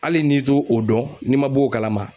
Hali n'i to o dɔn, n'i ma bɔ o kalama